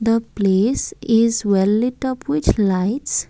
the place is well lit up which lights.